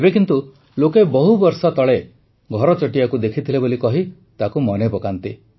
ଏବେ କିନ୍ତୁ ଲୋକେ ବହୁବର୍ଷ ତଳେ ଘରଚଟିଆକୁ ଦେଖିଥିଲେ ବୋଲି କହି ତାକୁ ମନେପକାନ୍ତି